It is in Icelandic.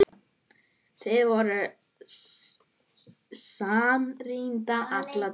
Þið voruð samrýnd alla tíð.